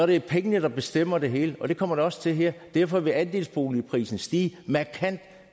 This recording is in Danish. det er pengene der bestemmer det hele og det kommer de også til her derfor vil andelsboligprisen stige markant